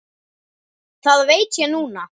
Það veit ég núna.